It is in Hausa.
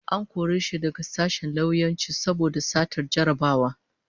An kore shi daga sashen lauyanci saboda satar jarrabawa